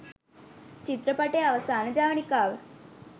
චිත්‍රපටය අවසාන ජවනිකාව